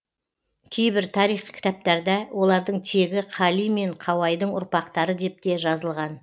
кейбір тарихи кітаптарда олардың тегі қали мен қауайдың ұрпақтары деп те жазылған